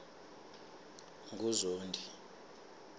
nguzondi